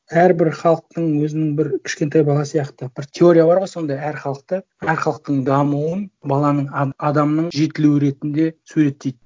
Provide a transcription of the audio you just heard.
әрбір халықтың өзінің бір кішкентай бала сияқты бір теория бар ғой сондай әр халықты әр халықтың дамуын баланың адамның жетілуі ретінде суреттейді